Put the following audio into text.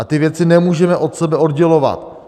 A ty věci nemůžeme od sebe oddělovat.